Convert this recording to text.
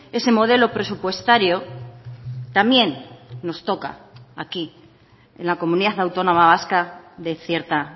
ese modelo presupuestario también nos toca aquí en la comunidad autónoma vasca de cierta